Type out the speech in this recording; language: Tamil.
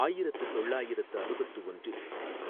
ஆயிரத்து தொள்ளாயிரத்து அறுபத்து ஒன்றில்